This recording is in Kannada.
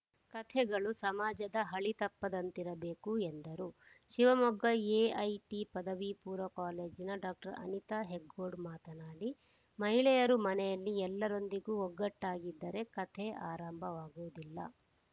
ಕಥೆಗಳು ಸಮಾಜದ ಹಳಿ ತಪ್ಪದಂತಿರಬೇಕು ಎಂದರು ಶಿವಮೊಗ್ಗ ಎಐಟಿ ಪದವಿಪೂರ್ವ ಕಾಲೇಜಿನ ಡಾಕ್ಟರ್ ಅನಿತಾ ಹೆಗ್ಗೋಡು ಮಾತನಾಡಿ ಮಹಿಳೆಯರು ಮನೆಯಲ್ಲಿ ಎಲ್ಲರೊಂದಿಗೂ ಒಗ್ಗಟ್ಟಾಗಿ ಇದ್ದರೆ ಕಥೆ ಆರಂಭವಾಗುವುದಿಲ್ಲ